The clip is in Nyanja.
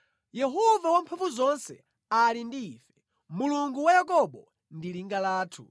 Yehova Wamphamvuzonse ali ndi ife, Mulungu wa Yakobo ndi linga lathu.